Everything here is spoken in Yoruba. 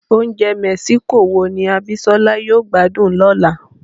Oúnjẹ mexico wo ni Abisola yóò gbádùn lọ́la?